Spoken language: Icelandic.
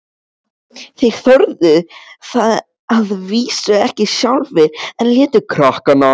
Þeir þorðu það að vísu ekki sjálfir, en létu krakkana.